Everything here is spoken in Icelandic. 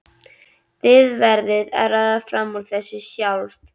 Þið verðið að ráða fram úr þessu sjálf.